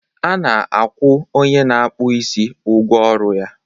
A na-akwụ onye na-akpụ isi ụgwọ ọrụ ya